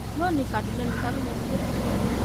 lónìí kaduna ní ta ló mọbi tó tún kan